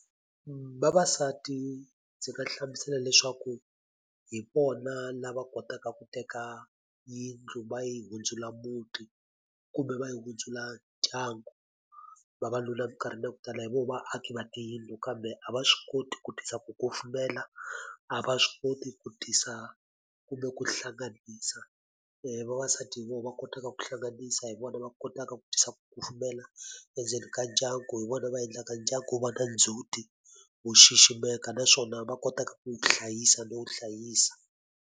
Vavasati ndzi nga hlamusela leswaku hi vona lava kotaka ku teka yindlu va yi hundzula muti, kumbe va yi hundzula ndyangu. Vavanuna eminkarhini yo tala hi vona vaaki va tiyindlu kambe a va swi koti ku tisa ku kufumela, a va swi koti ku tisa kumbe ku hlanganisa. Vavasati hi vona va kotaka ku hlanganisa, hi vona va kotaka ku tisa ku kufumela endzeni ka ndyangu, hi vona va endlaka ndyangu wu va na ndzhuti, wu xiximeka, naswona va kotaka ku wu hlayisa no wu hlayisa.